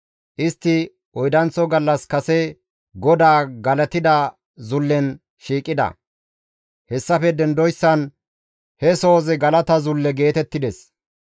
Istti oydanththo gallas kase GODAA galatida zullen shiiqida; hessafe dendoyssan he sohozi galata zulle geetettides.